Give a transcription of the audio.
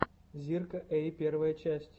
зирка эй первая часть